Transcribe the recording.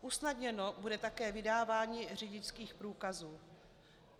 Usnadněno bude také vydávání řidičských průkazů.